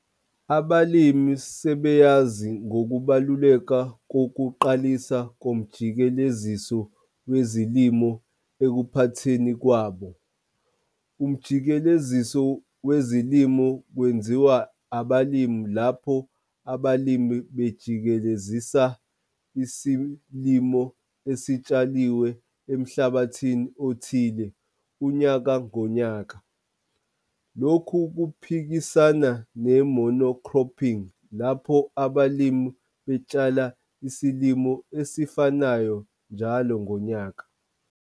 Abalimi sebeyazi ngokubaluleka kokuqalisa komjikeleziso wezilimo ekuphatheni kwabo. Umjikeleziso wezilimo kwenziwa abalimi lapho abalimi bejikelezisa isilimo esitshaliwe emhlabathini othile unyaka ngonyaka, lokhu kuphikisana ne-mono-cropping lapho abalimi betshala isilimo esifanayo njalo ngonyaka.